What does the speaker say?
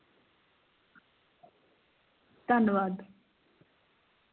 ਧੰਨਵਾਦ